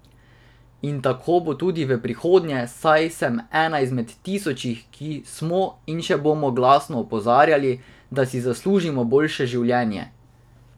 In tako bo tudi v prihodnje, saj sem ena izmed tisočih, ki smo in še bomo glasno opozarjali, da si zaslužimo boljše življenje.